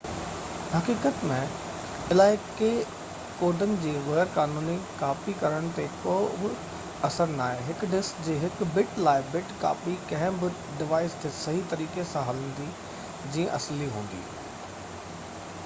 حقيقت ۾ علائقي ڪوڊن جو غير قانوني ڪاپي ڪرڻ تي ڪوبه اثر ناهي هڪ ڊسڪ جي هڪ بٽ-لاءِ-بٽ ڪاپي ڪنهن به ڊوائيس تي صحيح طريقي سان هلندي جيئن اصلي هلندي